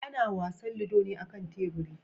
Ana wasan ludo ne a kan teburi.